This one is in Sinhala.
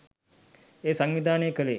එය සංවිධානය කළේ